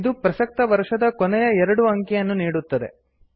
ಇದು ಪ್ರಸಕ್ತ ವರ್ಷದ ಕೊನೆಯ ಎರಡು ಅಂಕಿಯನ್ನು ನೀಡುತ್ತದೆ